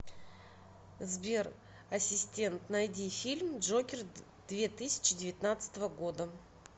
сбер ассистент найди фильм джокер две тысячи девятнадцатого года